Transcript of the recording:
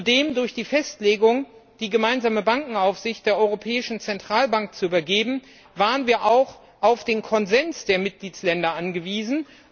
Zudem waren wir durch die Festlegung, die gemeinsame Bankenaufsicht der Europäischen Zentralbank zu übergeben, auch auf den Konsens der Mitgliedstaaten angewiesen.